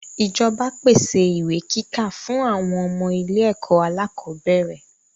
ìjọba pèsè ìwé kíkà fún àwọn ọmọ ilé-ẹ̀kọ́ alákọ̀bẹ́ẹ́rẹ̀.